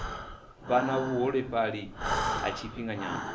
vha na vhuholefhali ha tshifhinganyana